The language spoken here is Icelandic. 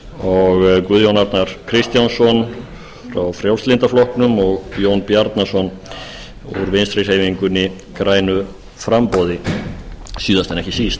og guðjón arnar kristjánsson frá frjálslynda flokknum og jón bjarnason úr vinstri hreyfingunni grænu framboði síðast en ekki síst